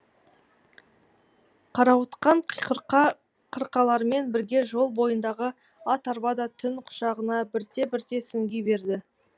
қарауытқан қырқа қырқалармен бірге жол бойындағы ат арба да түн құшағына бірте бірте сүңги берді